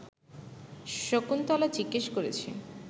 শকুন্তলা জিজ্ঞেস করেছে